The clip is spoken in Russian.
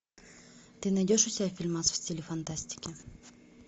ты найдешь у себя фильмас в стиле фантастики